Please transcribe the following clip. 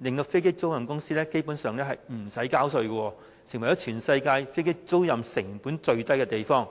令飛機租賃公司基本上無須交稅，成為全世界飛機租賃成本最低的地方。